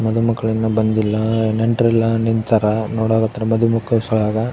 ಮದು ಮಕ್ಕಳು ಇನ್ನು ಬಂದಿಲ್ಲ ನೆಂಟರೆಲ್ಲ ನಿಂತಾರ ನೋಡಕ್ ಹತ್ತರ ಮದು ಮಕ್ಕಳ ಸಲುವಾಗ --